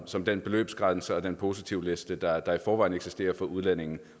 som den beløbsgrænse og den positivliste der der i forvejen eksisterer for udlændinge